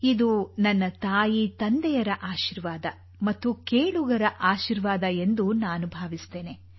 ಇದು ನನ್ನ ತಾಯಿ ತಂದೆಯರ ಆಶೀರ್ವಾದ ಮತ್ತು ಕೇಳುಗರ ಆಶೀರ್ವಾದ ಎಂದು ನಾನು ಭಾವಿಸುತ್ತೇನೆ